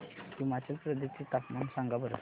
हिमाचल प्रदेश चे तापमान सांगा बरं